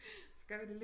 Så gør vi det lidt